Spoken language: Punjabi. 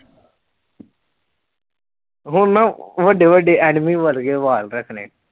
ਹੁਣ ਨਾ ਵੱਡੇ ਵੱਡੇ enemy ਵਰਗੇ ਵਾਲ ਰੱਖਣੇ